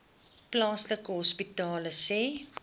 plaaslike hospitale sê